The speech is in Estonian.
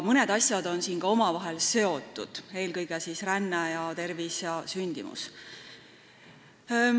Mõned asjad on siin ka omavahel seotud, eelkõige siis ränne, tervis ja sündimus.